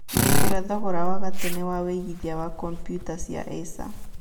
nengera thogora wa gatene wa wĩigĩthĩa wa kombuyuta cia acer